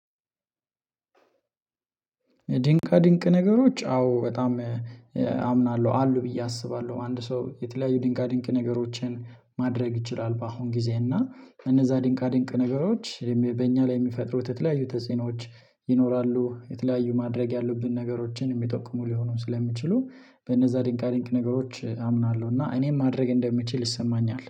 ድንቃ ድንቅ ነገሮች አዎ በጣም አምናለሁ አሉ ብዬ አስባለሁ። አንድ ሰው የተለያዩ ድንቃ ድንቅ ነገሮችን ማድረግ ይችላል። በአሁን ጊዜ እና እነዛ ድንቃ ድንቅ ነገሮች በእኛ ላይ የሚፈጥሩት የተለያዩ ተጽእኖች ይኖራሉ። የተለያዩ ማድረግ ያሉብን ነገሮችን የሚጠቁሙ ሊሆኑ ስለሚችሉ በእነዛ ድንቃ ድንቅ ነገሮች አምናለሁ እና እኔም ማድረግ እንደምችል ይሰማኛል